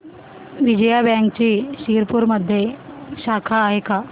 विजया बँकची शिरपूरमध्ये शाखा आहे का